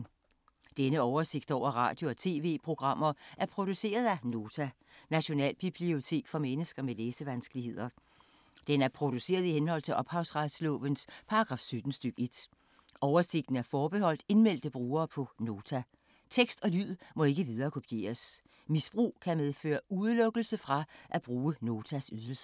Denne oversigt over radio og TV-programmer er produceret af Nota, Nationalbibliotek for mennesker med læsevanskeligheder. Den er produceret i henhold til ophavsretslovens paragraf 17 stk. 1. Oversigten er forbeholdt indmeldte brugere på Nota. Tekst og lyd må ikke viderekopieres. Misbrug kan medføre udelukkelse fra at bruge Notas ydelser.